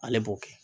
Ale b'o kɛ